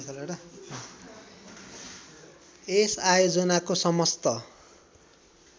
यस आयोजनको समस्त